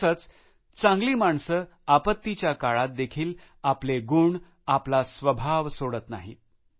तसेच चांगली माणसं आपत्तीच्या काळात देखील आपले गुण आपले स्वभाव सोडत नाहीत